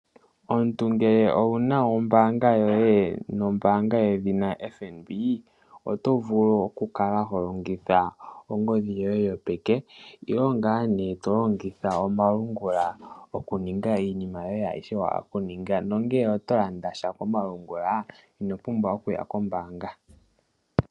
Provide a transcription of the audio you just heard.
Omuntu ngele owu na ombaanga yedhina o-FNB, oto vulu okukala holongitha ongodhi yoye yopeke. Tolongitha omalungula okuninga iinima yoye ayihe mboka wahala okuninga. Ngele owahala oku landa sha komalungula ino pumbwa oku ya kombaanga.